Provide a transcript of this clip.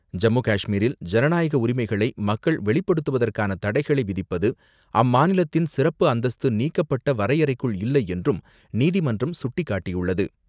ஜம்மு காஷ்மீரில் ஜனநாயக உரிமைகளை மக்கள் வெளிப்படுத்துவதற்கான தடைகளை விதிப்பது, அம்மானிலத்தின் சிறப்பு அந்தஸ்து நீக்கப்பட்ட வரையறைக்குல் இல்லை என்றும், நீதிமன்றம் சுட்டிக்காட்டியுள்ளது.